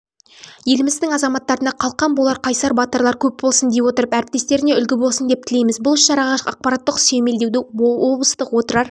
еліміздің азаматтарына қалқан болар қайсар батырлар көп болсын дей отырып әріптестеріне үлгі болсын деп тілейміз бұл іс-шараға ақпараттық сүйемелдеуді облыстық отырар